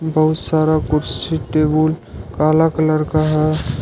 बहुत सारा कुर्सी टेबुल काला कलर का है।